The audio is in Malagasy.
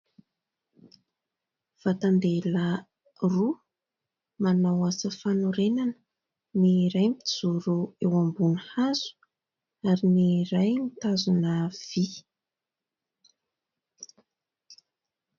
Vatan-dehilahy roa, manao asa fanorenana. Ny iray mijoro eo ambony hazo, ary ny iray mitazona vy.